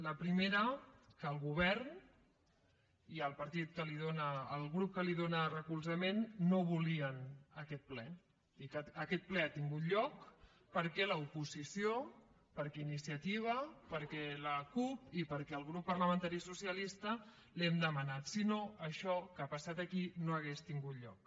la primera que el govern i el partit el grup que li dóna recolzament no volien aquest ple i que aquest ple ha tingut lloc perquè l’oposició perquè iniciativa perquè la cup i perquè el grup parlamentari socialista l’hem demanat si no això que ha passat aquí no hauria tingut lloc